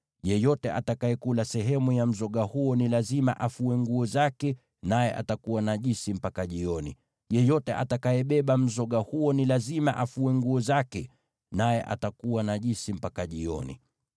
Yeyote atakayekula sehemu ya mzoga huo ni lazima afue nguo zake, naye atakuwa najisi mpaka jioni. Yeyote atakayebeba mzoga huo ni lazima afue nguo zake, naye atakuwa najisi mpaka jioni.